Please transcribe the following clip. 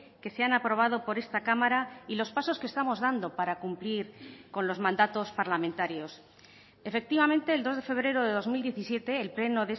que se han aprobado por esta cámara y los pasos que estamos dando para cumplir con los mandatos parlamentarios efectivamente el dos de febrero de dos mil diecisiete el pleno